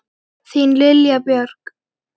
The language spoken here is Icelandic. Þín Lilja Björg.